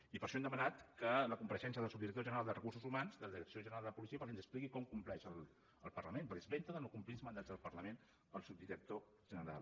i per això hem demanat la compareixença del subdirector general de recursos humans de la direcció general de la policia perquè ens expliqui com compleix amb el parlament perquè es vanta de no complir els mandats del parlament el subdirector general